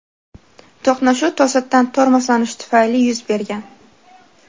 To‘qnashuv to‘satdan tormozlanish tufayli yuz bergan.